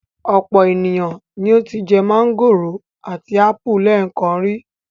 Ọ̀pọ̀ ènìyàn ni ó ti jẹ mángòrò àti ápù lẹ́ẹ̀kan rí.